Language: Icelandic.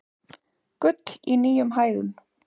Gull í nýjum hæðum